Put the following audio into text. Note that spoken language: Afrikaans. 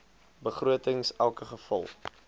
begrotings elke geval